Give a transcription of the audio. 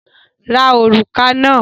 Ra òrùka náà!